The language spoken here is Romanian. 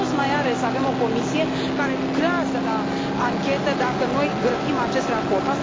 Ce rost mai are să avem o Comisie care lucrează la anchetă dacă noi grăbim acest raport?